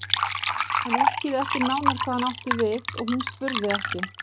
Hann útskýrði ekki nánar hvað hann átti við og hún spurði ekki.